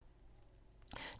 TV 2